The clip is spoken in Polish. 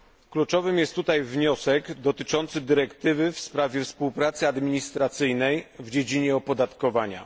Kluczowy jest tutaj wniosek dotyczący dyrektywy w sprawie współpracy administracyjnej w dziedzinie opodatkowania.